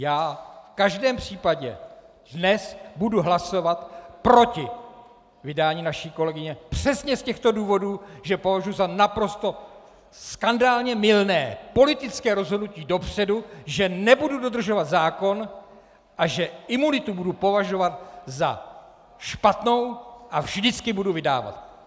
Já v každém případě dnes budu hlasovat proti vydání naší kolegyně přesně z těchto důvodů, že považuji za naprosto skandálně mylné politické rozhodnutí dopředu, že nebudu dodržovat zákon a že imunitu budu považovat za špatnou a vždycky budu vydávat.